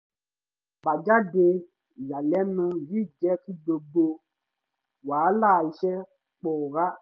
àbájáde ìyànilẹ́nu yìí jẹ́ kí gbogbo wàhálà iṣẹ́ pòórá